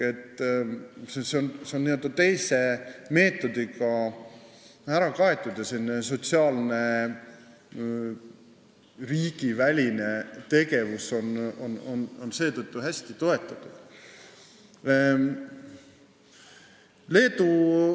Seal on see n-ö teise meetodiga ära kaetud ja riigiväline sotsiaalne tegevus seetõttu hästi toetatud.